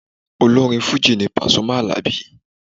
Olórin Fujì ni Pàsúmì Àlàbí.